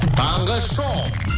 таңғы шоу